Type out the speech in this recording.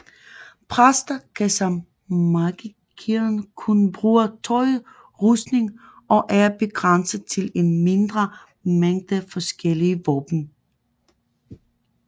Præster kan som magikeren kun bruge tøjrustning og er begrænset til en mindre mængde forskellige våben